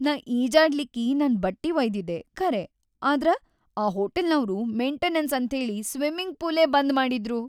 ನಾ ಈಜಾಡ್ಲಿಕ್ಕಿ ನನ್‌ ಬಟ್ಟಿ ವಯ್ದಿದ್ದೆ ಖರೆ ಆದ್ರ ಆ ಹೋಟೆಲ್ನವ್ರು ಮೆಂಟೆನನ್ಸ್‌ ಅಂತ್ಹೇಳಿ ಸ್ಮಿಮಿಂಗ್‌ ಪೂಲೇ ಬಂದ್‌ ಮಾಡಿದ್ರು.